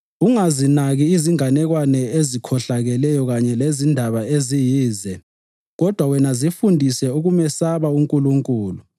Ungazinaki izinganekwane ezikhohlakeleyo kanye lezindaba eziyize kodwa wena zifundise ukumesaba uNkulunkulu.